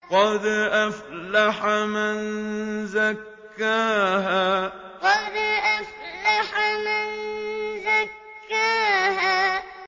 قَدْ أَفْلَحَ مَن زَكَّاهَا قَدْ أَفْلَحَ مَن زَكَّاهَا